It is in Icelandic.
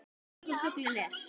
Í björgum fuglinn er.